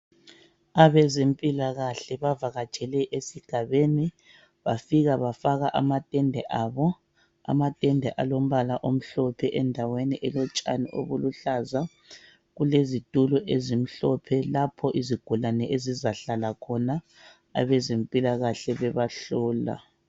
Abezempilakahle bavakatshele esigabeni bafika bafaka amatende abo .Amatende alombala omhlophe endaweni elotshani obuluhlaza kulezitulo ezimhlophe lapho izigulane ezizahlala khona abezempilakahle bebahlola .